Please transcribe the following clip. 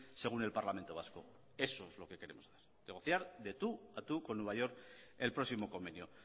según el parlamento vasco eso es lo que queremos negociar de tú a tú con nueva york el próximo convenio